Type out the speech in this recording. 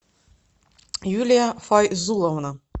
юлия файзуловна